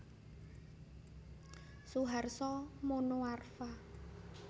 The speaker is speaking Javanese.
Suharso Monoarfa